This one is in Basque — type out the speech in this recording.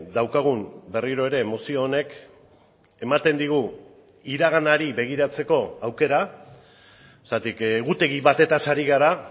daukagun berriro ere mozio honek ematen digu iraganari begiratzeko aukera zergatik egutegi batez ari gara